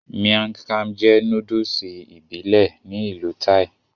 Miang kham jẹ́ nóódùsì ìbílẹ̀ ní ìlú Thai